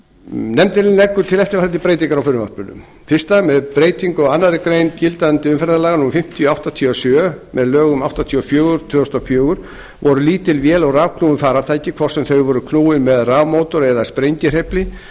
nefndin leggur til eftirfarandi breytingar á frumvarpinu fyrstu með breytingu á annarri grein gildandi umferðarlaga númer fimmtíu nítján hundruð áttatíu og sjö með lögum númer áttatíu og fjögur tvö þúsund og fjögur voru lítil vél og rafknúin farartæki hvort sem þau voru knúin með rafmótor eða sprengihreyfli